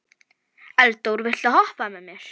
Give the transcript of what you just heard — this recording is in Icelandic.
Eldór, viltu hoppa með mér?